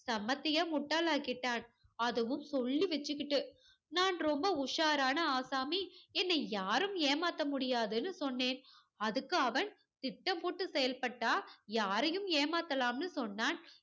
செமத்தியா முட்டாளாக்கிட்டான். அதுவும் சொல்லி வச்சுகிட்டு. நான் ரொம்ப உஷாரான ஆசாமி, என்னை யாரும் ஏமாத்த முடியாதுன்னு சொன்னேன். அதுக்கு அவன் திட்டம் போட்டு செயல்பட்டா யாரையும் ஏமாத்தலாம்னு சொன்னான்.